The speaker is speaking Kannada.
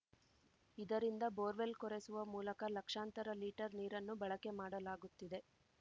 ಇದರಿಂದ ಬೋರ್‌ವೆಲ್‌ ಕೊರೆಸುವ ಮೂಲಕ ಲಕ್ಷಾಂತರ ಲೀಟರ್‌ ನೀರನ್ನು ಬಳಕೆ ಮಾಡಲಾಗುತ್ತಿದೆ